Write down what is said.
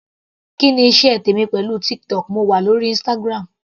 Kí ni iṣẹ́ tèmi pẹ̀lú TikTok, mo wà lórí Instagram.